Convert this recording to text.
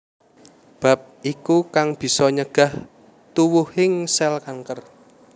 Bab iku kang bisa nyegah tuwuhing sèl kanker